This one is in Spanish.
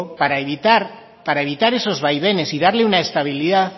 para evitar esos vaivenes y darle una estabilidad